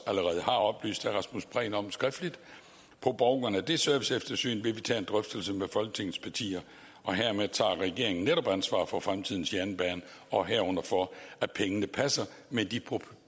allerede har oplyst herre rasmus prehn om skriftligt på baggrund af det serviceeftersyn vil vi tage en drøftelse med folketingets partier og hermed tager regeringen netop ansvar for fremtidens jernbane og herunder for at pengene passer med de